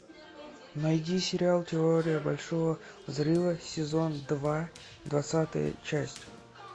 найди сериал теория большого взрыва сезон два двадцатая часть